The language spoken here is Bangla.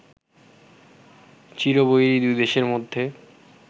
চিরবৈরি দুই দেশের মধ্যে